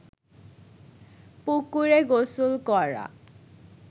পুকুরে গোসল করা